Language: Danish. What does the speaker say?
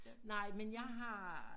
Nej men jeg har